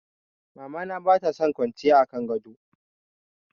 Mama na bata son kwanciya a kan gado.